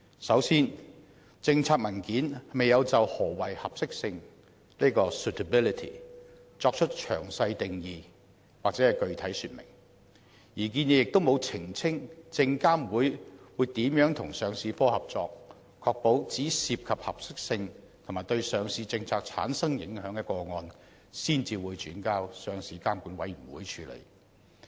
首先，諮詢文件未有就何謂合適性作出詳細定義或具體說明，而新建議亦沒有澄清證券及期貨事務監察委員會如何與上市部合作，確保只有涉及合適性及對上市政策產生影響的個案才會轉交上市監管委員會處理。